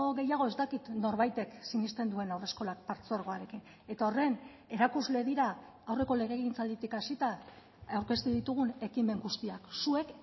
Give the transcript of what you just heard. gehiago ez dakit norbaitek sinesten duen haurreskolak partzuergoarekin eta horren erakusle dira aurreko legegintzalditik hasita aurkeztu ditugun ekimen guztiak zuek